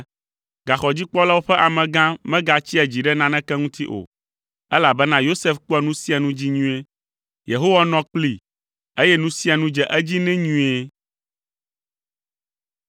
Gaxɔdzikpɔlawo ƒe amegã megatsia dzi ɖe naneke ŋuti o, elabena Yosef kpɔa nu sia nu dzi nyuie. Yehowa nɔ kplii, eye nu sia nu dze edzi nɛ nyuie.